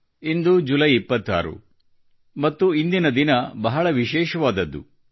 ಇಂದು July 26 ಮತ್ತು ಇಂದಿನ ದಿನ ಬಹಳ ವಿಶೇಷವಾದದ್ದು